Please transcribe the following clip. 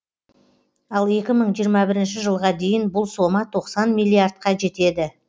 ал екі мың жиырма бірінші жылға дейін бұл сома тоқсан миллиардқа жетеді